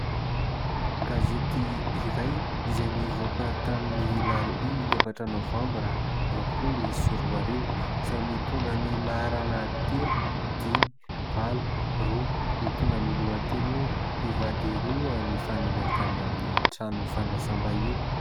Gazety iray izay nivoaka tamin'ny alarobia efatra novambra roapolo sy roa arivo izay mitondra ny laharana telo, dimy, valo, roa ; mitondra ny lohateny hoe"mpivady roa nifanena tany amin'ny trano fandraisam-bahiny".